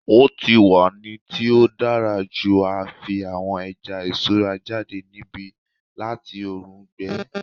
O ti wa ni ti o dara ju a fi awọn ẹja iṣura jade nibi lati oorun gbẹ